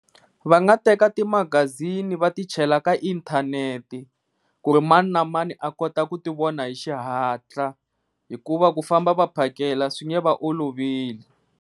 Va nga teka ti magazini va ti chela ka inthanete ku ri mani na mani a kota ku ti vona hi xihatla, hikuva ku famba va phakela a swi nge va oloveli.